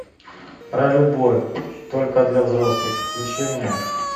про любовь только для взрослых включи мне